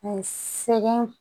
sɛgɛn